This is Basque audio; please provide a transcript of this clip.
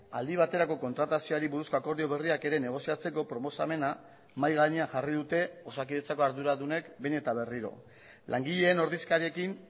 aldi baterako kontratazioari buruzko akordio berriak ere negoziatzeko proposamena mahai gainean jarri dute osakidetzako arduradunek behin eta berriro langileen ordezkariekin